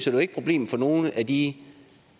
jo ikke problemet for nogen af de